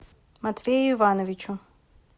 матвею ивановичу